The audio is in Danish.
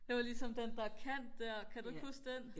det var ligesom den der kant der kan du ikke huske den